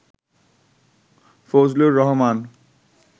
Fazlur Rahman